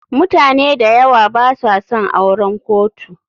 mutane dayawa basa son auren kotu.